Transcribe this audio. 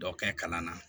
Dɔ kɛ kalan na